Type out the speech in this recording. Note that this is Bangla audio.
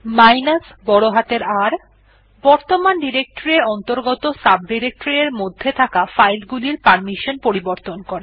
R বর্তমান ডিরেকটরি এর অন্তর্গত সাবডিরেকটরি এর মধ্যে থাকা ফাইল গুলির পারমিশন পরিবর্তন করে